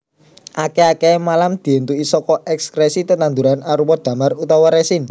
Akèh akèhé malam diéntuki saka èkskrèsi tetanduran arupa damar utawa resin